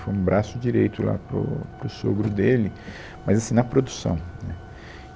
Foi um braço direito lá para o para o sogro dele, mas assim, na produção, né